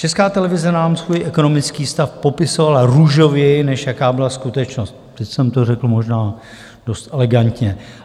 Česká televize nám svůj ekonomický stav popisovala růžověji, než jaká byla skutečnost - teď jsem to řekl možná dost elegantně.